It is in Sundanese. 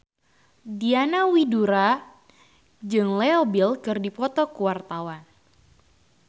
Diana Widoera jeung Leo Bill keur dipoto ku wartawan